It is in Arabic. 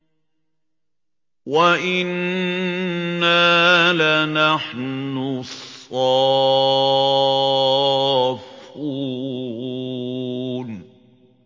وَإِنَّا لَنَحْنُ الصَّافُّونَ